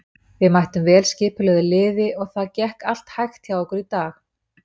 Við mættum vel skipulögðu liði og það gekk allt hægt hjá okkur í dag.